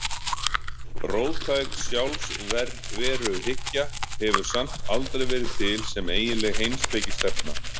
Róttæk sjálfsveruhyggja hefur samt aldrei verið til sem eiginleg heimspekistefna.